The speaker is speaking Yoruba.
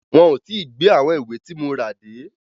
Wọn ò tí gbé àwọn ìwé tí mo rà dé.